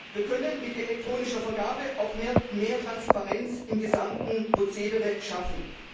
Wir können mit elektronischer Vergabe auch mehr Transparenz im gesamten Prozedere schaffen.